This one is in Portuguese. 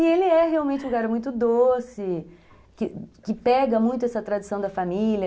E ele é realmente um cara muito doce, que pega muito essa tradição da família.